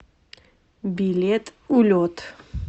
билет улет